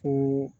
Ko